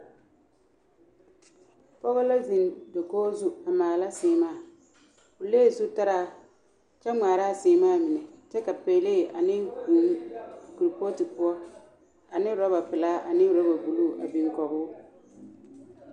Pɔge la zeŋ dakogi zu a maala seemaa o lee zutaraa kyɛ maala a seemaa mine kyɛ ka pelaa ane vūū kuripɔɔte poɔ ane rɔba pelaa ane rɔba buluu a biŋ kɔge o